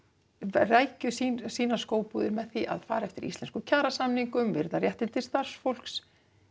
rækju sínar sínar skóbúðir með því að fara eftir íslenskum kjarasamningum virða réttindi starfsfólks